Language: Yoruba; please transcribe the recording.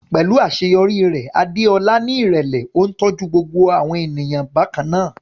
Pẹ̀lú àṣeyọrí rẹ̀, Adeola ní ìrẹ̀lẹ̀, ó ń tọ́jú gbogbo ènìyàn bákan náà.